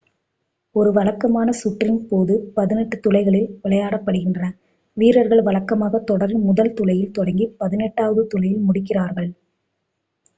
ஒரு வழக்கமான சுற்றின் போது பதினெட்டு துளைகளில் விளையாடப்படுகின்றன வீரர்கள் வழக்கமாக தொடரின் முதல் துளையில் தொடங்கி பதினெட்டாவது துளையில் முடிக்கிறார்கள்